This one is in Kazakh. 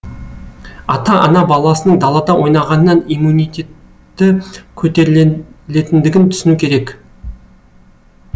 ата ана баласының далада ойнағаннан иммунитеті көтерілетіндігін түсіну керек